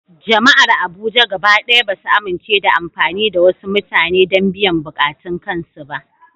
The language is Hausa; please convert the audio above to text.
Jama’ar Abuja gaba ɗaya ba su amince da amfani da wasu mutane don biyan buƙatun kansu ba.